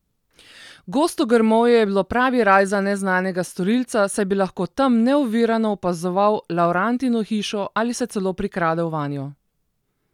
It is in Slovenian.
Gosto grmovje je bilo pravi raj za neznanega storilca, saj bi lahko tam neovirano opazoval Laurantino hišo ali se celo prikradel vanjo.